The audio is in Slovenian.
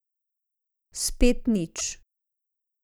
Spet nič.